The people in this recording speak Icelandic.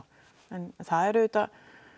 en það er auðvitað